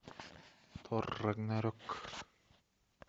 тор рагнарек